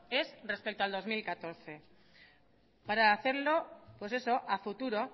es respecto al dos mil catorce para hacerlo pues eso a futuro